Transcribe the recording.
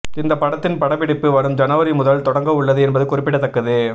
இந்த படத்தின் படப்பிடிப்பு வரும் ஜனவரி முதல் தொடங்கவுள்ளது என்பது குறிப்பிடத்தக்கது